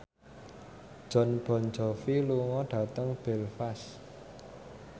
Jon Bon Jovi lunga dhateng Belfast